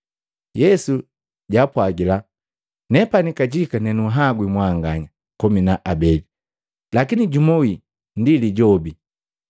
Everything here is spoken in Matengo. Yesu jaapwagila, “Nepani kajika nenunhwagwi mwanganya komi na abeli? Lakini jumu wii ndi Lijobi!”